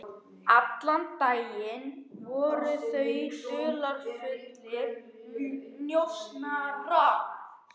Allan daginn voru þau dularfullir njósnarar.